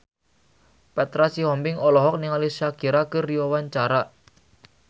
Petra Sihombing olohok ningali Shakira keur diwawancara